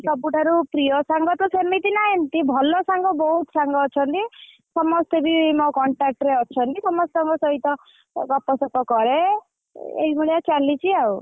ସବୁଠାରୁ ପ୍ରୀୟ ସାଙ୍ଗ ତ ସେମିତି ନାହାନ୍ତି ଭଲ ସାଙ୍ଗ ବହୁତ ସାଙ୍ଗ ଅଛନ୍ତି ସମସ୍ତେ ବି ମୋ contact ରେ ଅଛନ୍ତି ସମସ୍ତଙ୍କ ସହିତ ଗପସପ କରେ ଏଇଭଳିଆ ଚାଲିଛି ଆଉ।